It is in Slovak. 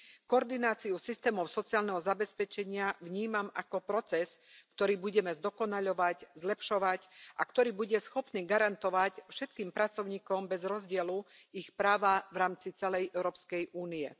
Koordináciu systémov sociálneho zabezpečenia vnímam ako proces, ktorý budeme zdokonaľovať, zlepšovať a ktorý bude schopný garantovať všetkým pracovníkom bez rozdielu ich práva v rámci celej Európskej únie.